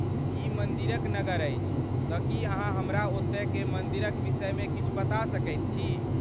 ई मन्दिरक नगर अछि, तँ की अहाँ हमरा ओतऽक मन्दिरक विषयमे किछु बता सकैत छी?